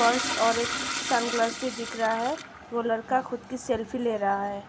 Pulse और एक sunglass भी दिख रहा है। वो लड़का खुद की सेल्फी ले रहा है।